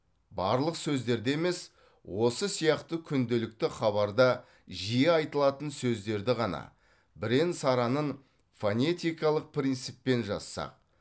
барлық сөздерде емес осы сияқты күнделікті хабарда жиі айтылатын сөздерді ғана бірен саранын фонетикалық принциппен жазсақ